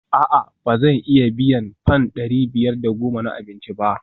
A'a ba zan iya biyan fam dari biyar da goma na abinci ba?